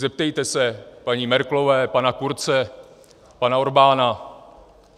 Zeptejte se paní Merkelové, pana Kurze, pana Orbána.